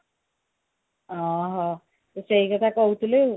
ଓଃହୋ ସେ ସେଇକଥା କହୁଥିଲେ ଆଉ